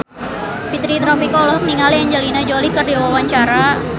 Fitri Tropika olohok ningali Angelina Jolie keur diwawancara